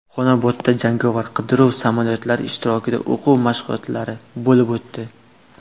Xonobodda jangovar qiruvchi samolyotlar ishtirokida o‘quv mashg‘uloti bo‘lib o‘tdi .